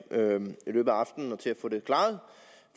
i løbet af aftenen til at få det klaret